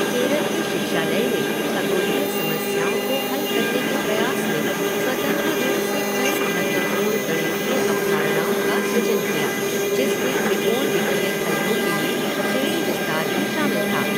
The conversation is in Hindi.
केरल के शिक्षालय ने खगोलीय समस्याओं को हल करने के प्रयास में स्वतंत्र रूप से कई महत्वपूर्ण गणितीय अवधारणाओं का सृजन किया जिसमें त्रिकोणमितीय फलनों के लिए श्रेणी विस्तार भी शामिल था।